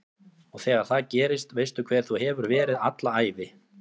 Og þegar það gerist veistu hver þú hefur verið alla ævi